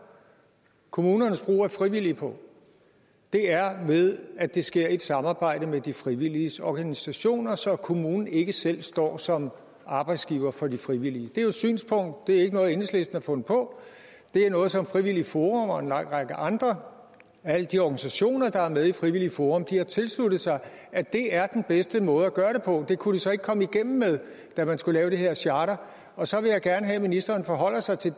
kommunernes brug af frivillige på er ved at det sker i samarbejde med de frivilliges organisationer så kommunen ikke selv står som arbejdsgiver for de frivillige det er jo et synspunkt det er ikke noget enhedslisten har fundet på det er noget som frivilligt forum og en lang række andre alle de organisationer der er med i frivilligt forum har tilsluttet sig at det er den bedste måde at gøre det på det kunne de så ikke komme igennem med da man skulle lave det her charter og så vil jeg gerne have at ministeren forholder sig til